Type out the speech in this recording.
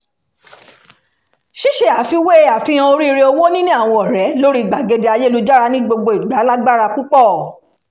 ṣíṣe àfiwé àfihàn oríire owó níní àwọn ọ̀rẹ́ lórí gbàgede ayélujára ní gbogbo ìgbà lágbára púpọ̀